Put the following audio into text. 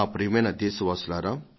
ప్రియమైన నా దేశ వాసులారా